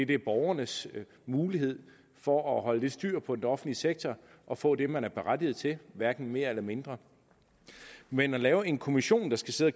det er borgernes mulighed for at holde lidt styr på den offentlige sektor og få det man er berettiget til hverken mere eller mindre men at lave en kommission der skal sidde